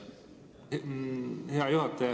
Hea juhataja!